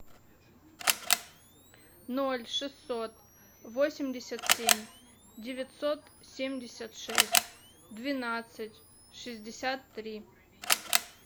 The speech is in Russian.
ноль шестьсот восемьдесят семь девятьсот семьдесят шесть двенадцать шестьдесят три